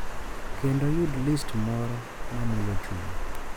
Kendo yud list moro ma mulo chuny